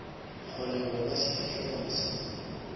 kgone go bona sefahlegwana sa